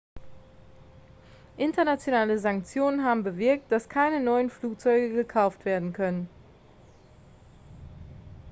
internationale sanktionen haben bewirkt dass keine neuen flugzeuge gekauft werden können